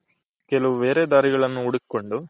ಕೆಲವು ಬೇರೆ ದಾರಿಗಳನು ಹುಡ್ಕೊಂಡು